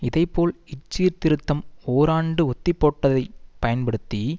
இதே போல் இச்சீர்திருத்தும் ஓராண்டு ஒத்திப்போடப்பட்டதை பயன்படுத்தி